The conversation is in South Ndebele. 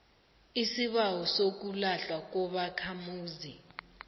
isibawo sokulahlwa kobakhamuzi